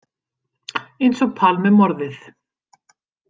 Eins og Palmemorðið.